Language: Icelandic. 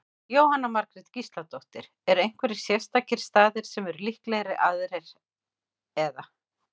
Jóhanna Margrét Gísladóttir: Eru einhverjir sérstakir staðir sem eru líklegri aðrir, eða?